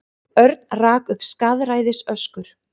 Örn rak upp skaðræðisöskur.